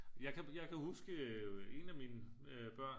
Jeg kan jeg kan huske en af mine børn